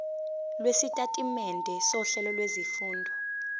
lwesitatimende sohlelo lwezifundo